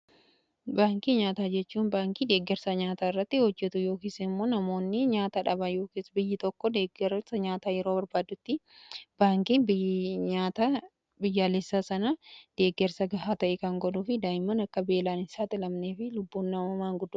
Baankii nyaataa jechuun baankii deeggarsa nyaataa irratti hojjetu yookiis immoo namoonni nyaata dhabanii yoo biyyi tokko deggarsa nyaataa yeroo barbaadutti baankiin nyaata biyyaalessaa sana deeggarsa gahaa ta'e kan godhuu fi daa'imman akka beelaan hin saaxilamnee fi lubbuun namuummaan akka hin miidhamne godha.